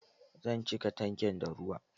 Zan cika tankin da ruwa.